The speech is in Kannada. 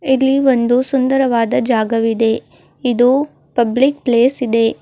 ಇಲ್ಲಿ ಒಂದು ಸುಂದರವಾದ ಜಾಗವಿದೆ ಇದು ಪಬ್ಲಿಕ್ ಪ್ಲೇಸ್ ಇದೆ.